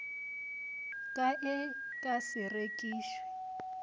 ka e ka se rekišwe